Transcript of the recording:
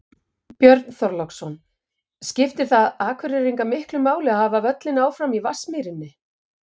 Björn Þorláksson: Skiptir það Akureyringa miklu máli að hafa völlinn áfram í Vatnsmýrinni?